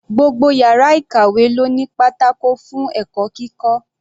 Gbogbo yàrá ìkàwé ló ní pátákó fún ẹ̀kọ́ kíkọ́.